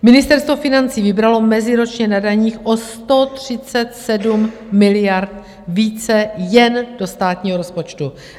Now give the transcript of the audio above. Ministerstvo financí vybralo meziročně na daních o 137 miliard více jen do státního rozpočtu.